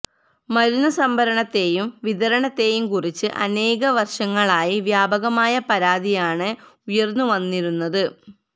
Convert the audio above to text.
മരുന്ന് സംഭരണത്തേയും വിതരണത്തേയും കുറിച്ച് അനേക വര്ഷങ്ങളായി വ്യാപകമായ പരാതിയാണ് ഉയര്ന്നുവന്നിരുന്നത്